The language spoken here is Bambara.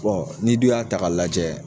Bon ni dun y'a ta ka lajɛ